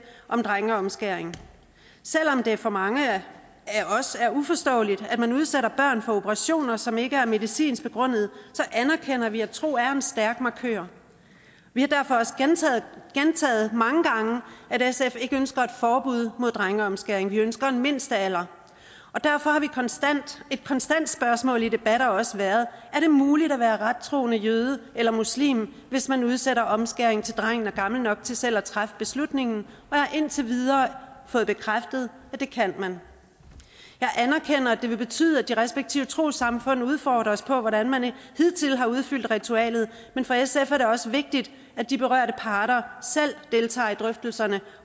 om drengeomskæring selv om det for mange af os er uforståeligt at man udsætter børn for operationer som ikke er medicinsk begrundet anerkender vi at tro er en stærk markør vi har derfor også gentaget mange gange at sf ikke ønsker et forbud mod drengeomskæring vi ønsker en mindstealder og derfor har et konstant spørgsmål i debatter også været er det muligt at være rettroende jøde eller muslim hvis man udsætter omskæring til drengen er gammel nok til selv at træffe beslutningen og jeg har indtil videre fået bekræftet at det kan man jeg anerkender at det vil betyde at de respektive trossamfund udfordrer os på hvordan man hidtil har udfyldt ritualet men for sf er det også vigtigt at de berørte parter selv deltager i drøftelserne